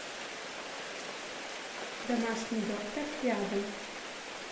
домашний доктор рядом